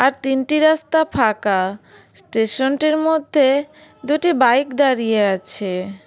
আর তিনটি রাস্তা ফাঁকা স্টেশনটির মধ্যে দুটি বাইক দাঁড়িয়ে আছে।